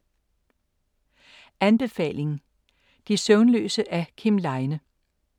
Anbefaling: De søvnløse af Kim Leine